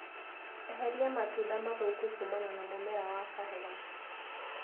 Eheria matunda mathũku kumana na mũmera wa kahũa.